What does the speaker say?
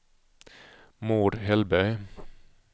Maud Hellberg